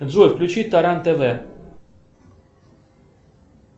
джой включи таран тв